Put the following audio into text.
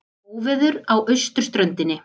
Óveður á austurströndinni